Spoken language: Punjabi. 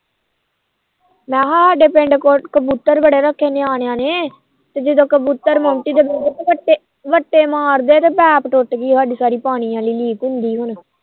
ਮੈ ਸਾਡੇ ਪਿੰਡ ਕਬੂਤਰ ਬੜੇ ਰੱਖੇ ਨਿਆਣਿਆ ਨੇ ਤੇ ਜਿੰਦਾ ਕਬੂਤਰ ਬੱਟੇ ਮਾਰਦੇ ਤੇ ਪੈਪ ਟੁਟ ਗੀ ਸਾਡੀ ਪਾਣੀ ਵਾਲੀ ਹੁਣ ਲੀਕ ਹੁੰਦੀ